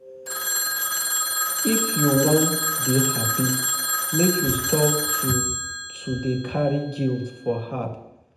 If you wan dey happy make you stop to to dey carry guilt for heart.